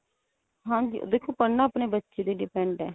ਹਾਂਜੀ ਦੇਖੋ ਪੜਨਾ ਆਪਣੇ ਬੱਚੇ ਤੇ depend ਏ.